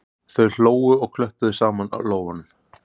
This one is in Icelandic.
Þau hlógu og klöppuðu saman lófunum